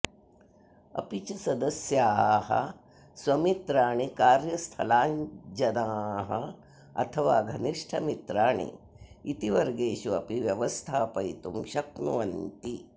अपि च सदस्याः स्वमित्राणि कार्यस्थलाज्जनाः अथवा घनिष्ठमित्राणि इति वर्गेषु अपि व्यवस्थापयितुं शक्नुवन्ति